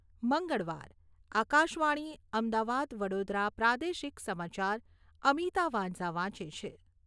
મંગળવાર, આકાશવાણી, અમદાવાદ વડોદરા પ્રાદેશિક સમાચાર અમિતા વાંઝા વાંચે છે.